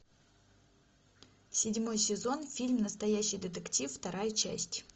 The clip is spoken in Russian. седьмой сезон фильм настоящий детектив вторая часть